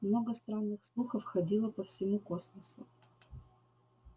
много странных слухов ходило по всему космосу